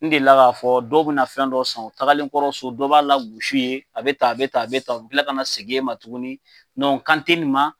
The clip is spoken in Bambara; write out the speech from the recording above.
N delila k'a fɔ dɔw bɛ na fɛn dɔ san o tagalenkɔrɔ so, dɔ b'a lagos'u ye a bɛ tan ,a bɛ tan ,a bɛ tan, o bila ka n'a seg'e ma tuguni n kan te nin ma,